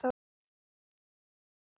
Þín Fjóla.